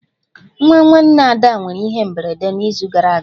Nwa nwanne ada nwere ihe mberede n'izu gara aga